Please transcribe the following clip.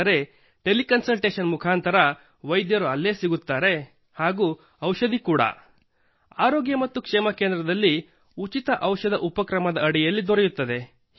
ಆದರೆ tele consultation ಮುಖಾಂತರ ವೈದ್ಯರು ಅಲ್ಲೇ ಸಿಗುತ್ತಾರೆ ಮತ್ತು ಔಷಧ ಕೂಡಾ ಆರೋಗ್ಯ ಮತ್ತು ಕ್ಷೇಮ ಕೇಂದ್ರದಲ್ಲಿ ಉಚಿತ ಔಷಧ ಉಪಕ್ರಮದ ಅಡಿಯಲ್ಲಿ ದೊರೆಯುತ್ತದೆ